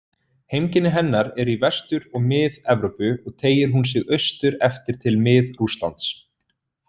Heimkynni hennar eru í Vestur- og Mið-Evrópu og teygir hún sig austur eftir til Mið-Rússlands.